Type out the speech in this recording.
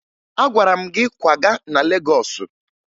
Agwara m gị kwaga na Legọọsụ!